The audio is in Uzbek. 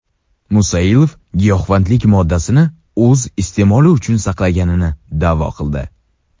Musailov giyohvandlik moddasini o‘z iste’moli uchun saqlaganligini da’vo qildi.